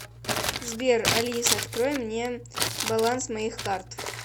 сбер алиса открой мне баланс моих карт